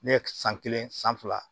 Ne ye san kelen san fila